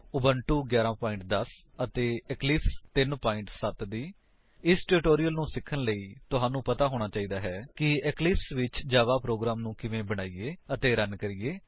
Ubuntu 11 10 ਅਤੇ Eclipse 3 7 ਇਸ tutorial ਨੂੰ ਸਿਖਣ ਲਈ ਤੁਹਾਨੂੰ ਪਤਾ ਹੋਣਾ ਚਾਹੀਦਾ ਹੈ ਕਿ ਇਕਲਿਪਸ ਵਿੱਚ ਜਾਵਾ ਪ੍ਰੋਗਰਾਮ ਨੂੰ ਕਿਵੇਂ ਬਣਾਈਏ ਅਤੇ ਰਣ ਕਰੀਏ